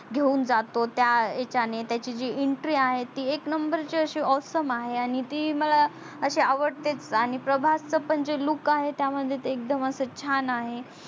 घेऊन जातो त्या याचाणे त्याची जी entry आहे ती एक नंबर ची अशी awesome आणि तिला मला असि आवडतेच आणि प्रभासच पण जे look आहे त्या मध्ये तर एकदम अस छान